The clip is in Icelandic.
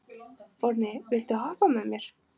Forni, viltu hoppa með mér?